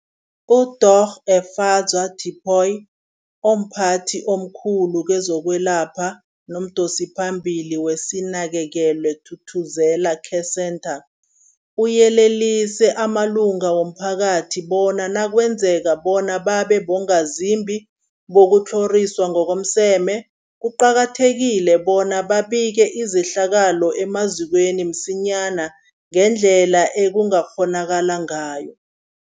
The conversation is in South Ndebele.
UDorh Efadzwa Tipoy, omphathi omkhulu kezokwelapha nomdosiphambili weSinakekelwe Thuthuzela Care Centre, uyelelise amalunga womphakathi bona nakwenzekako bona babe bongazimbi bokutlhoriswa ngokomseme, kuqakathekile bona babike izehlakalo emazikweni msinyana ngendlela ekungakghonakala ngayo.